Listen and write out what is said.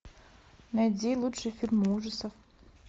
найди лучшие фильмы ужасов